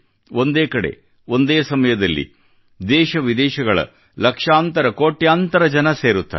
ಒಂದೇ ಕಡೆ ಒಂದೇ ಸಮಯದಲ್ಲಿ ದೇಶ ವಿದೇಶಗಳ ಲಕ್ಷಾಂತರ ಕೋಟ್ಯಾಂತರ ಜನ ಸೇರುತ್ತಾರೆ